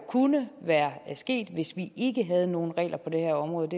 kunne være sket hvis vi ikke havde nogen regler på det her område